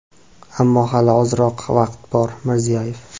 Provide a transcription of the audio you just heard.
Ammo hali ozroq vaqt bor – Mirziyoyev.